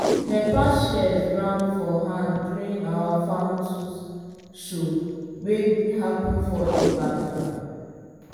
dem pass shears round for hand during our farm tools show wey happen for ibadan.